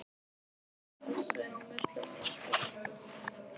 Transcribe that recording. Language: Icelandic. Þess á milli var allt í mesta bróðerni.